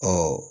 Ɔ